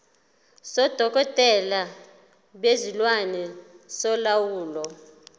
sodokotela bezilwane solawulo